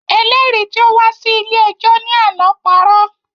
Ẹlẹ́rìí tí ó wá sí ilé ẹjọ́ ní àná parọ́